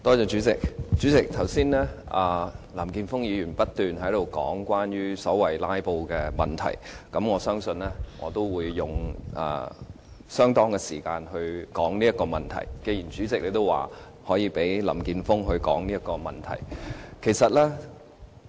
主席，剛才林健鋒議員不斷議論所謂"拉布"的問題，我相信，既然主席可以讓林健鋒議員談論這問題，我也會用相當的時間來談論這問題。